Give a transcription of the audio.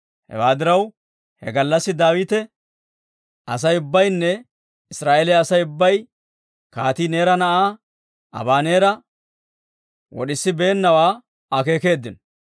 Hewaa diraw, he gallassi Daawita Asay ubbaynne Israa'eeliyaa Asay ubbay kaatii Neera na'aa Abaneera wod'isibeennawaa akeekeeddino.